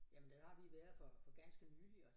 Jamen der har vi været for for ganske nyligt og